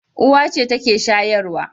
Uwa ce take shayarwa.